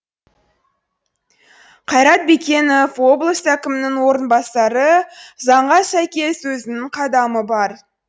қайрат бекенов облыс әкімінің орынбасары заңға сәйкес өзінің қадамы бар